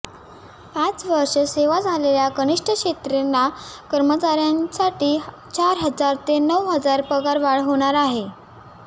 पाच वर्षे सेवा झालेल्या कनिष्ठ श्रेणीतल्या कर्मचाऱ्यांसाठी चार हजार ते नऊ हजार पगारवाढ होणार आहे